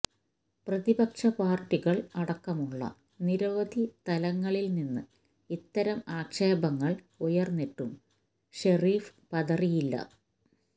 പ്രതിപക്ഷ പാര്ട്ടികള് അടക്കമുള്ള നിരവധി തലങ്ങളില്നിന്ന് ഇത്തരം ആക്ഷേപങ്ങള് ഉയര്ന്നിട്ടും ഷെരീഫ് പതറിയില്ല